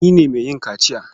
Ni ne mai yin kaciya.